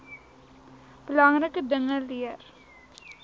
belangrike dinge leer